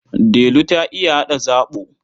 Delu ta iya haɗa zaɓo.